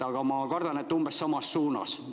Aga ma kardan, et umbes samas suunas.